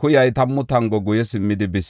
Kuyay tammu tango guye simmidi bis.